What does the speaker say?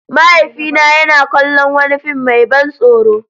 Mahaifina yana kallon wani fim mai ban tsoro.